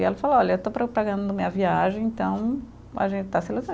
E ela falou, olha, eu estou propagando minha viagem, então a gente está